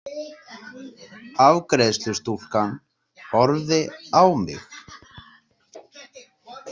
Afgreiðslustúlkan horfði á mig.